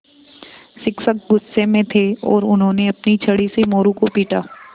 शिक्षक गुस्से में थे और उन्होंने अपनी छड़ी से मोरू को पीटा